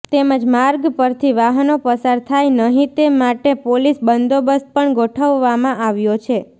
તેમજ માર્ગ પરથી વાહનો પસાર થાય નહીં તે માટે પોલીસ બંદોબસ્ત પણ ગોઠવવામાં આવ્યો છે